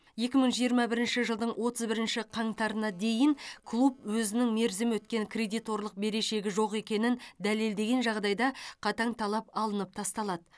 екі мың жиырма бірінші жылдың отыз бірінші қаңтарына дейін клуб өзінің мерзімі өткен кредиторлық берешегі жоқ екенін дәлелдеген жағдайда қатаң талап алынып тасталады